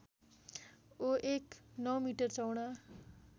ओएक ९ metre चौडा